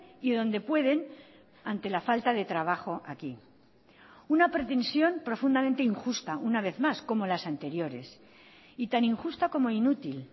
y dónde pueden ante la falta de trabajo aquí una pretensión profundamente injusta una vez más como las anteriores y tan injusta como inútil